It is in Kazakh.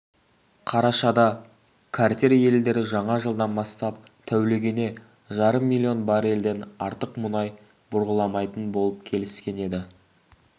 қарашада картель елдері жаңа жылдан бастап тәулігіне жарым млн баррельден артық мұнай бұрғыламайтын болып келіскен еді